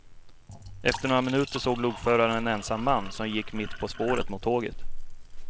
Efter några minuter såg lokföraren en ensam man som gick mitt på spåret mot tåget.